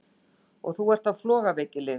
Og þú ert á flogaveikilyfjum!